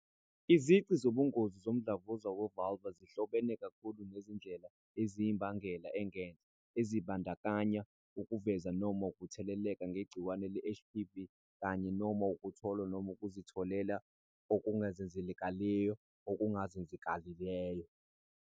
Izici zobungozi zomdlavuza we-vulvar zihlobene kakhulu nezindlela eziyimbangela engenhla, ezibandakanya ukuvezwa noma ukutheleleka ngegciwane le-HPV kanye-noma ukutholwa noma ukuzitholela okuzenzakalelayo okuzenzakalelayo.